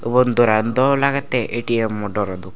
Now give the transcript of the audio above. ubon doran daw lagette A_T_M mo doro dok.